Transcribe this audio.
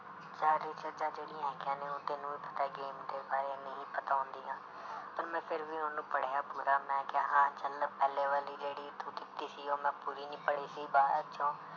ਚੀਜ਼ਾਂ ਜਿਹੜੀਆਂ ਹੈਗੀਆਂ ਨੇ ਉਹ ਤੈਨੂੰ ਵੀ ਪਤਾ game ਦੇ ਬਾਰੇ ਨਹੀਂ ਪਤਾ ਹੁੰਦੀਆਂ ਪਰ ਮੈਂ ਫਿਰ ਵੀ ਉਹਨੂੰ ਪੜ੍ਹਿਆ ਪੂਰਾ ਮੈਂ ਕਿਹਾ ਹਾਂ ਚੱਲ ਪਹਿਲੇ ਵਾਲੀ ਜਿਹੜੀ ਤੂੰ ਦਿੱਤੀ ਸੀ ਉਹ ਮੈਂ ਪੂਰੀ ਨੀ ਪੜ੍ਹੀ ਸੀ ਬਾਅਦ ਚੋਂ